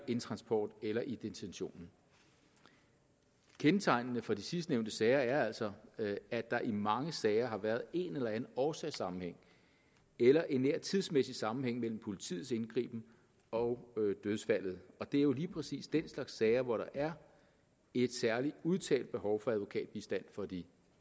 en transport eller i detentionen kendetegnende for de sidstnævnte sager er altså at der i mange sager har været en eller anden årsagssammenhæng eller en nær tidsmæssig sammenhæng mellem politiets indgriben og dødsfaldet og det er jo lige præcis den slags sager hvor der er et særlig udtalt behov for advokatbistand for de